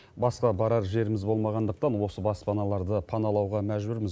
басқа барар жеріміз болмағандықтан осы баспаналарды паналауға мәжбүрміз